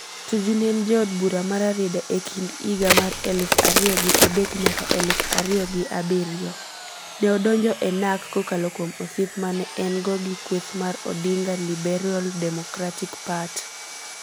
Tuju ne en jaod bura ma Rarieda e kind higa mar eluf ario gi adek nyaka eluf ario gi abirio. Neodonjo e Narc kokalo kuom osiep mane en go gi kweth mar Odinga LiberalDemocratic Part(LDP)